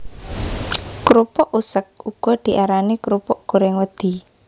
Krupuk useg uga diarani krupuk gorèng wedhi